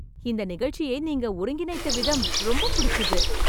இந்த நிகழ்ச்சியை நீங்க ஒருங்கிணைத்த விதம் ரொம்ப புடிச்சுது